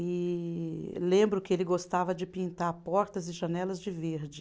E lembro que ele gostava de pintar portas e janelas de verde.